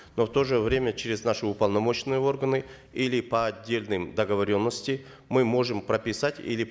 но в то же время через наши уполномоченные органы или по отдельным договоренностям мы можем прописать или